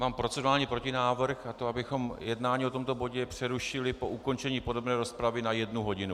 Mám procedurální protinávrh, a to abychom jednání o tomto bodu přerušili po ukončení podrobné rozpravy na jednu hodinu.